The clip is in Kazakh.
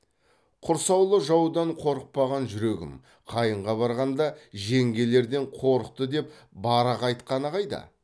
құрсаулы жаудан қорықпаған жүрегім қайынға барғанда жеңгелерден қорықты деп барақ айтқаны қайда